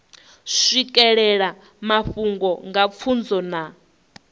swikelela mafhungo nga pfunzo na